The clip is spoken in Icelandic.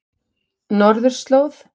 Norðurslóð